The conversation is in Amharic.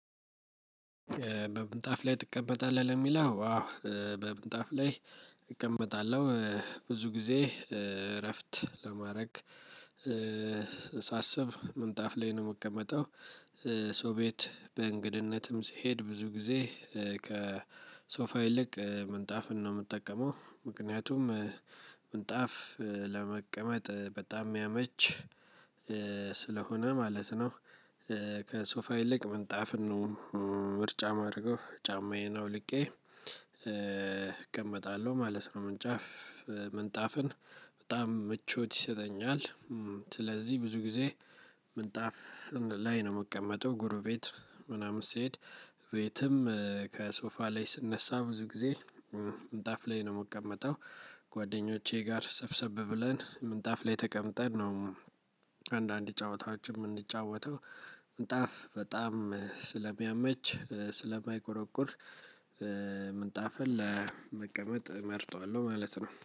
በምንጣፍ ላይ ትቀመጣለህ ለሚለው አዎ በምንጣፍ ላይ እቀመጣለሁ ብዙ ጊዜ እረፍት ለማድረግ ሳስብ ምንጣፍ ላይ ምቀመጠው። ሰው ቤት እንግድነትም ስሄድ ብዙ ጊዜ ከሶፋ ይልቅ ምንጣፍን ነው ምጠቀመው ምክንያቱም ምንጣፍ ለመቀመጥ በጣም የሚያመች ስለሆነ ማለት ነው። ከሶፋ ይልቅ ምንጣፍን ነው ምርጫ ማረገው ጫማዬን አውልቄ እቀመጣለሁ ማለት ነው። ምንጫፍ ምንጣፍን በጣም ምቾት ይሰጠኛል። ስለዚህ ብዙ ጊዜ ምንጣፍ ላይ ነው ምቀመጠው። ጎረቤት ምናምን ስሄድ ቤትም ከሶፋ ላይ ስነሳ ብዙ ጊዜ ምንጣፍ ላይ ነው ምቀመጠው። ጓደኞቼ ጋር ሰብሰብ ብለን ምንጣፍ ላይ ተቀምጠን ነው አንዳንድ ጨዋታዎችን ምንጫወተው። ምንጣፍ በጣም ስለሚያመች ስለማይቆረቁር ምንጣፍን ለመቀመጥ እመርጠዋለው ማለት ነው